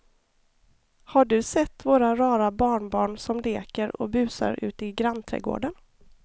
Har du sett våra rara barnbarn som leker och busar ute i grannträdgården!